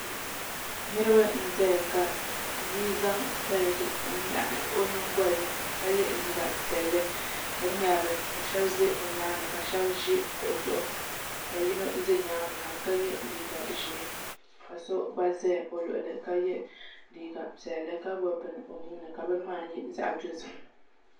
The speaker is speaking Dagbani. Niraba n ʒɛya ka bia zaŋ daligɛ n nyaɣa o nyingoli ni ka yɛ liiga piɛlli ka ŋmɛrili ka shab ʒɛ o nyaanga ka shab ʒi kuɣu zuɣu ka yino ʒɛ nyaangi ha ka yɛ liiga ʒiɛ ka so gba ʒɛ o luɣulu ka yɛ liiga piɛlli ka gbubi bini o nuuni ka bini maa nyɛ zaɣ dozim